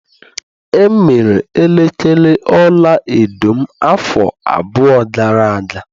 E mere elekere ọlaedo m afọ abụọ gara aga.